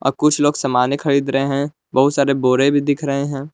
अ कुछ लोग सामानें खरीद रहे हैं बहुत सारे बोरे भी दिख रहे हैं।